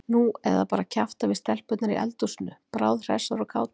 Nú eða bara kjafta við stelpurnar í eldhúsinu, bráðhressar og kátar.